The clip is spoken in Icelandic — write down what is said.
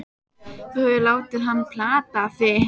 Þú hefur látið hann plata þig!